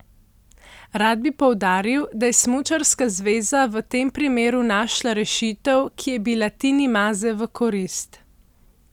Rad bi poudaril, da je smučarska zveza v tem primeru našla rešitev, ki je bila Tini Maze v korist.